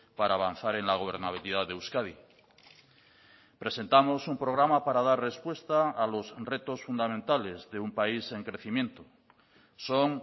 para avanzar en la gobernabilidad de euskadi presentamos un programa para dar respuesta a los retos fundamentales de un país en crecimiento son